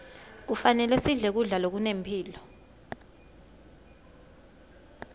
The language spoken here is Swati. kufanele sidle kudla lokunemphilo